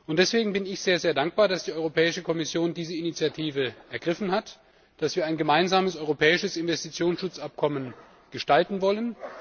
Deswegen bin ich sehr dankbar, dass die Europäische Kommission diese Initiative ergriffen hat, dass wir ein gemeinsames europäisches Investitionsschutzabkommen gestalten wollen.